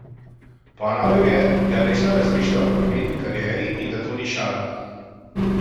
Ponovil je, da resno razmišlja o nogometni karieri in da to ni šala.